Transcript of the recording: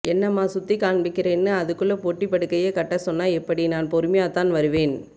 என்னம்மா சுத்தி காண்பிக்கிறேன்னு அதுக்குள்ள பொட்டி படுக்கைய கட்ட சொன்ன எப்படி நான் பொறுமையாதான் வருவேன்